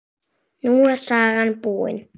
Nú er sagan búin.